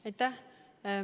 Aitäh!